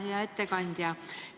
Hea ettekandja!